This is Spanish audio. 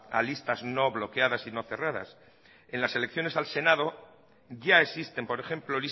a listas no bloqueadas y no cerradas en las elecciones al senado ya existen por ejemplo